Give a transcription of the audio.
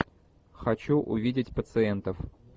хочу увидеть пациентов